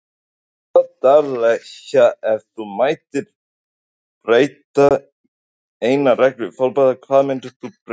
Já daglega Ef þú mættir breyta einni reglu í fótbolta, hverju myndir þú breyta?